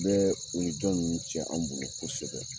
An bɛɛɛ o ni jɔn nunun cɛ an bolo kosɛbɛ.